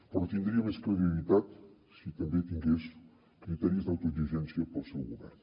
però tindria més credibilitat si també tingués criteris d’autoexigència per al seu govern